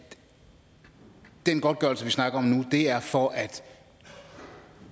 den godtgørelse vi snakker om nu er for at